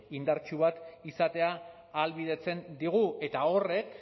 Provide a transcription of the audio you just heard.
indartsu bat izatea ahalbidetzen digu eta horrek